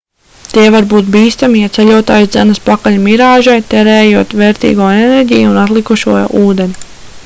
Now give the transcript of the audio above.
tie var būt bīstami ja ceļotājs dzenas pakaļ mirāžai tērējot vērtīgo enerģiju un atlikušo ūdeni